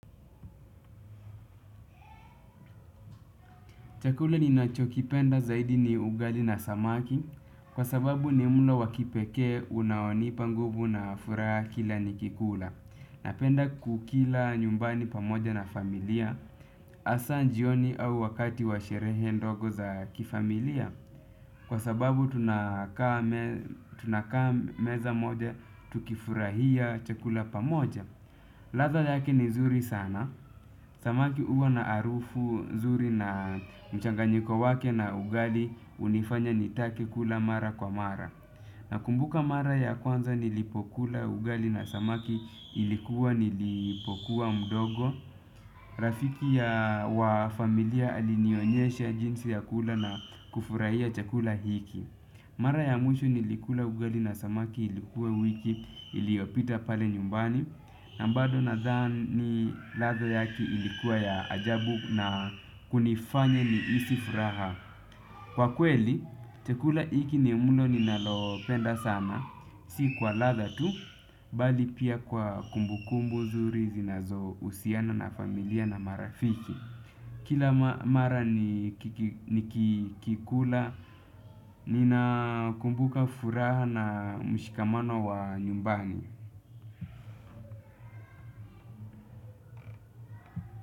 Chakula ninachokipenda zaidi ni ugali na samaki kwa sababu ni mlo wa kipekee unaonipa nguvu na furaha kila nikikula. Napenda kukila nyumbani pamoja na familia hasa jioni au wakati wa sherehe ndogo za kifamilia kwa sababu tunakaa meza moja tukifurahia chakula pamoja. Ladha yake ni nzuri sana. Samaki huwa na harufu nzuri na mchanganyiko wake na ugali hunifanya nitake kula mara kwa mara. Nakumbuka mara ya kwanza nilipokula ugali na samaki ilikuwa nilipokuwa mdogo. Rafiki ya wa familia alinionyesha jinsi ya kula na kufurahia chakula hiki. Mara ya mwisho nilikula ugali na samaki ilikuwa wiki iliyopita pale nyumbani. Na bado nadhani ladha yake ilikuwa ya ajabu na kunifanye nihisi furaha. Kwa kweli, chakula hiki ni mlo ninalopenda sana. Si kwa ladha tu, bali pia kwa kumbukumbu nzuri zinazohusiana na familia na marafiki. Kila mara nikikikula, ninakumbuka furaha na mshikamano wa nyumbani.